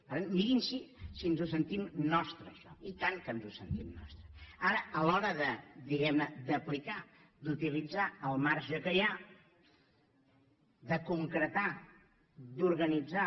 per tant mirin si ens ho sentim nostre això oi tant que ens ho sentim nostre ara a l’hora diguem ne d’aplicar d’utilitzar el marge que hi ha de concretar d’organitzar